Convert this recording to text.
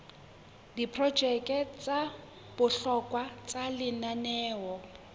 diprojeke tsa bohlokwa tsa lenaneo